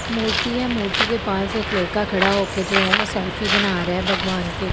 मूर्ति है मूर्ति के पास एक लड़का खड़ा होके जो है वह सेल्फी बना रहा है भागवान के एक।